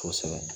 Kosɛbɛ